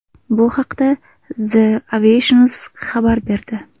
Bu haqda The Aviationist xabar berdi .